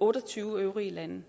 otte og tyve øvrige lande